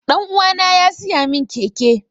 Ɗan uwana ya siya mun keke